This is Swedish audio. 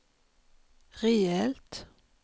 rejält